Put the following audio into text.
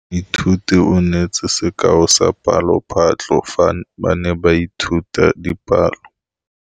Moithuti o neetse sekaô sa palophatlo fa ba ne ba ithuta dipalo.